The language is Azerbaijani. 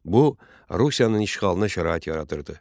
Bu Rusiyanın işğalına şərait yaradırdı.